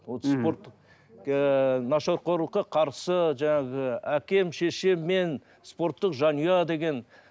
спорттық ыыы нашақорлыққа қарсы жаңағы әкем шешем мен спорттық жанұя деген